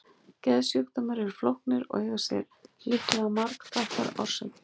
Geðsjúkdómar eru flóknir og eiga sér líklega margþættar orsakir.